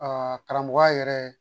karamɔgɔya yɛrɛ